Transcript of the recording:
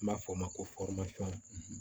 N b'a fɔ o ma ko